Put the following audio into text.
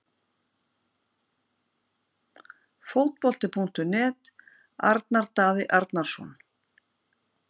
Fótbolti.net- Arnar Daði Arnarsson